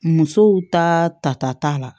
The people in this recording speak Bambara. Musow ta ta ta t'a la